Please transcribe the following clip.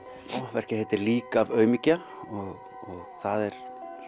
verkið heitir lík af aumingja og það er